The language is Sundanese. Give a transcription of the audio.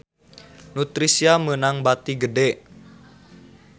Nutricia meunang bati gede